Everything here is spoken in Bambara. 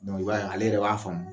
i b'a ye ale yɛrɛ b'a faamu